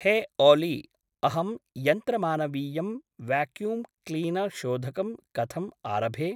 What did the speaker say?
हे ओलि अहं यन्त्रमानवीयं व्याक्यू्ं क्लीनर्शोधकं कथम् आरभे?